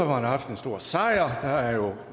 har haft en stor sejr